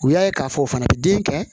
U y'a ye k'a fɔ o fana bɛ den kɛ